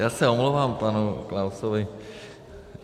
Já se omlouvám panu Klausovi.